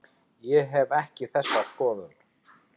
Ég hef ekki þessa skoðun.